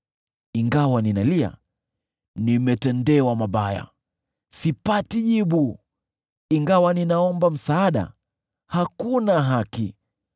“Ingawa ninalia, ‘Nimetendewa mabaya!’ sipati jibu; ingawa ninaomba msaada, hakuna haki.